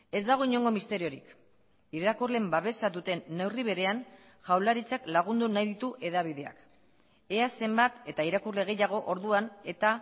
ez dago inongo misteriorik irakurleen babesa duten neurri berean jaurlaritzak lagundu nahi ditu hedabideak ea zenbat eta irakurle gehiago orduan eta